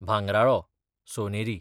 भांगराळो, सोनेरी